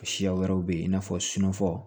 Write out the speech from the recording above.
Siya wɛrɛ bɛ yen i n'a fɔ sunɔforo